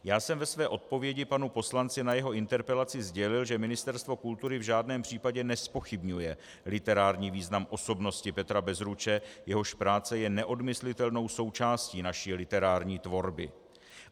Já jsem ve své odpovědi panu poslanci na jeho interpelaci sdělil, že Ministerstvo kultury v žádném případě nezpochybňuje literární význam osobnosti Petra Bezruče, jehož práce je neodmyslitelnou součástí naší literární tvorby.